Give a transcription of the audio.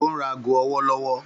Ó ń ra ago ọwọ́ lọ́wọ́.